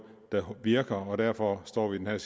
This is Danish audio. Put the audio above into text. der virker og derfor står vi nu i